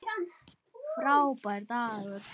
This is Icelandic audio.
Frábær dagur.